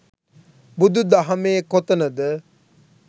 බුදු දහමේ කොතනද